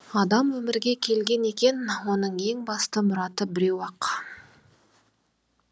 адам өмірге келген екен оның ең басты мұраты біреу ақ